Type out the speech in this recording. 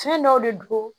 Fɛn dɔw de don